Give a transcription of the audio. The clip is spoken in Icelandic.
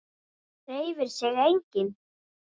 Hreyfir sig enginn?